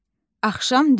Axşam düşür.